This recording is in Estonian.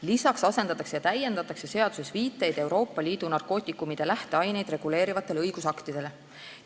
Lisaks asendatakse ja täiendatakse seaduses viiteid narkootikumide lähteaineid reguleerivatele Euroopa Liidu õigusaktidele.